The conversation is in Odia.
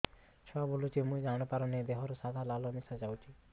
ଛୁଆ ବୁଲୁଚି ମୁଇ ଜାଣିପାରୁନି ଦେହରୁ ସାଧା ଲାଳ ମିଶା ଯାଉଚି